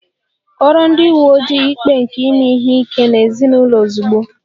Kọọrọ ndị uwe ojii ikpe nke ime ihe ike n'ezinụlọ ozugbo!